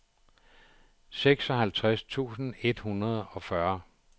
seksoghalvtreds tusind et hundrede og fyrre